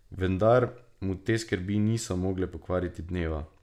Vendar mu te skrbi niso mogle pokvariti dneva.